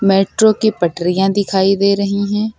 Metro की पटरियां दिखाई दे रही हैं।